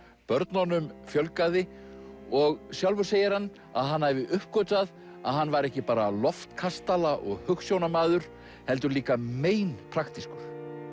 börnunum fjölgaði og sjálfur segir hann að hann hafi uppgötvað að hann væri ekki bara loftkastala og hugsjónamaður heldur líka mein praktískur